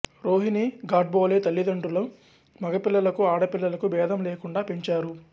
రోహిణీ గాడ్బోలే తల్లితండ్రులు మగపిల్లలకు ఆడపిల్లలకు భేదం లేకుండా పెంచారు